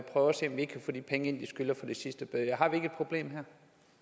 få de penge ind som de skylder fra de sidste bøder har vi ikke her et problem